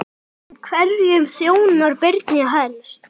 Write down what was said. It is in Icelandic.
En hverjum þjónar Brynja helst?